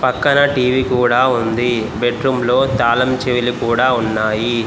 అక్కడ టీ_వీ కూడా ఉంది బెడ్ రూమ్ లో తాళం చెవులు కూడా ఉన్నాయి.